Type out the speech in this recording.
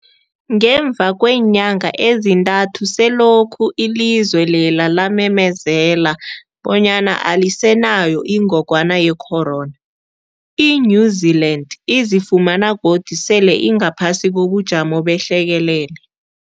Ngemva kweenyanga ezintathu selokhu ilizwe lela lamemezela bonyana alisenayo ingogwana ye-corona, i-New-Zealand izifumana godu sele ingaphasi kobujamo behlekelele.